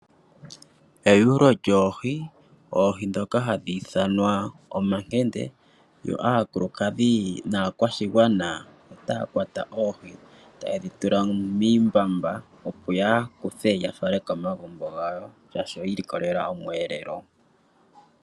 Eyuulo lyoohi, oohi dhoka hadhi ithanwa omakende yo aakulukadhi naakwashigwana otaya kwata oohi tayedhitula miimbamba opo yakuthe yafale komagumbo gawo shaashi oyiilikolela omweelelo.